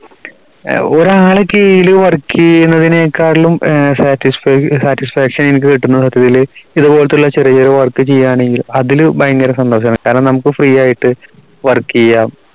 ഏർ ഒരാളെ കീഴിൽ work എയ്യിന്നതിനേക്കാളും സാറ്റിസ്‌ satisfaction എനിക്ക് കിട്ടുന്നത് സത്യത്തില് ഇതുപോലുള്ള ചെറിയ ചെറിയ work ചെയ്യണമെങ്കിൽ അതില് ഭയങ്കര സന്തോഷമാണ് കാരണം നമുക്ക് free ആയിട്ട് work എയ്യാം